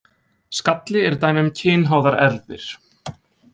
Skalli er dæmi um kynháðar erfðir.